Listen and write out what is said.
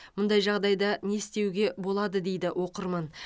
мұндай жағдайда не істеуге болады дейді оқырман